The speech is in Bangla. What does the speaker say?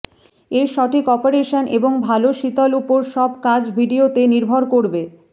এর সঠিক অপারেশন এবং ভাল শীতল উপর সব কাজ ভিডিওতে নির্ভর করবে